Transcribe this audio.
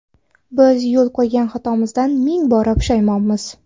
Biz yo‘l qo‘ygan xatomizdan ming bora pushaymonmiz.